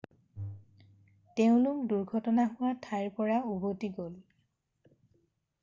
তেওঁলোক দুৰ্ঘটনা হোৱা ঠাইৰ পৰা উভতি গ'ল